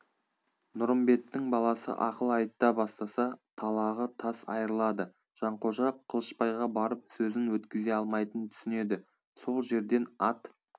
нұрымбеттің баласы ақыл айта бастаса талағы тас айрылады жанқожа қылышбайға барып сөзін өткізе алмайтынын түсінеді сол жерден ат